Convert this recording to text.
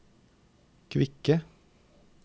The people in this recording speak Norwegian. kvikke